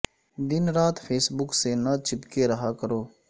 دن رات Facebook سے نہ چپکے رہا کرو